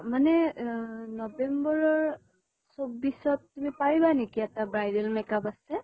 মানে অহ november ৰ চৌব্বিছ ত তুমি পাৰিবা নেকি? এটা bridal makeup আছে।